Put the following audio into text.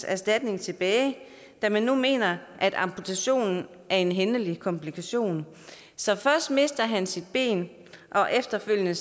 erstatning tilbage da man nu mener at amputationen er en hændelig komplikation så først mister han sit ben og efterfølgende